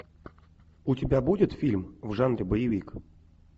у тебя будет фильм в жанре боевик